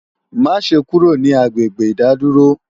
Maṣe kúrò ní agbègbè ìdádúró!